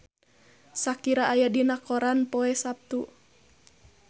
Shakira aya dina koran poe Saptu